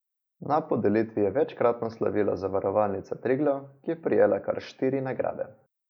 Na podelitvi je večkratno slavila Zavarovalnica Triglav, ki je prejela kar štiri nagrade.